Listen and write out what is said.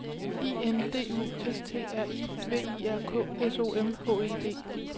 I N D U S T R I V I R K S O M H E D